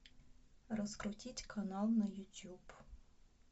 раскрутить канал на ютюб